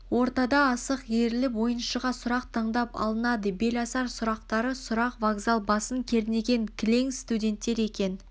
ортада төрт асық иіріліп ойыншыға сұрақ таңдап алынады беласар сұрақтары сұрақ вокзал басын кернеген кілең студенттер екен